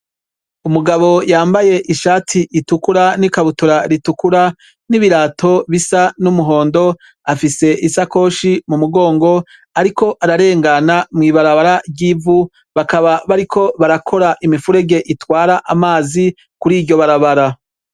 Umugabo yambaye ishati itukura n'ikabutura ritukura n'ibirato bisa n'umuhondo afise isakoshi mu mugongo, ariko ararengana mw'ibarabara ry'ivu bakaba bariko barakora imifurege itwara amazi kuri iryo barabara.